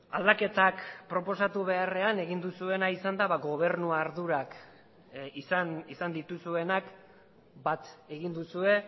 aldaketak proposatu beharrean egin duzuena izan da gobernu ardurak izan dituzuenak bat egin duzue